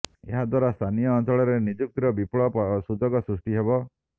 ଏହାଦ୍ୱାରା ସ୍ଥାନୀୟ ଅଞ୍ଚଳରେ ନିଯୁକ୍ତିର ବିପୁଳ ସୁଯୋଗ ସୃଷ୍ଟି ହେବ